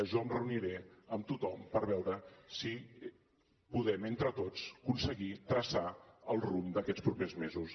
jo em reuniré amb tothom per veure si podem entre tots aconseguir traçar el rumb d’aquests propers mesos